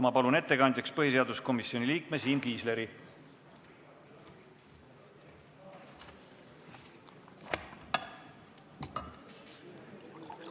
Ma palun ettekandjaks põhiseaduskomisjoni liikme Siim Kiisleri!